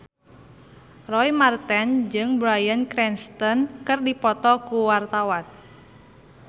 Roy Marten jeung Bryan Cranston keur dipoto ku wartawan